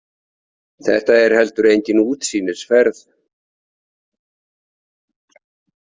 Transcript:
Þetta er heldur engin útsýnisferð.